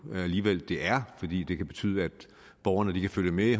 alligevel det er fordi det kan betyde at borgerne kan følge med i